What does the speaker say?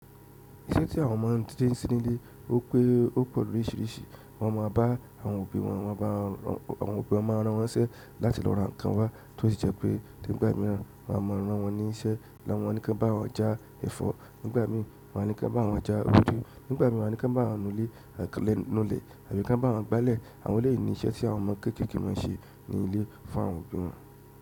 Iṣẹ́ tí àwọn ọmọdé ń ṣe nílé ó pẹ́ ó pọ̀ lóríṣiríṣi. Àwọn ọmọ bá àwọn òbí wọn, àwọn òbí wọn máa rán wọ́n ṣe láti lọ ra ǹkan wá, tó sì jẹ́ pé nígbà míràn àwọn ọmọ rán wọ́n ní iṣẹ́. Wọ́n a ní kí wọ́n bá wọn já ẹ̀fọ́, nígbà míi wọ́n á ní kí wọ́n bá wọn já ewédú, nígbà míràn wọ́n á ní kí wọ́n bá wọn nu ilé àti lẹ nú ilẹ̀ tàbí kí wọ́n bá wọn gbálẹ̀. Àwọn eleyii ní iṣẹ́ tí àwọn ọmọ kéékèèké máa ń ṣe ní ilé fún àwọn òbí wọn.